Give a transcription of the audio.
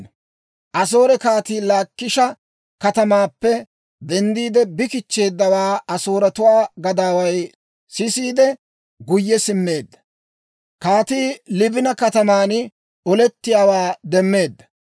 Asoore kaatii Laakisha katamaappe denddiide bi kichcheeddawaa Asooretuwaa gadaaway sisiide, guyye simmeedda. Kaatii Liibina kataman olettiyaawaa demmeedda.